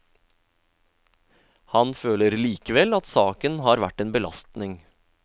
Han føler likevel at saken har vært en belastning.